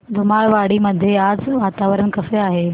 धुमाळवाडी मध्ये आज वातावरण कसे आहे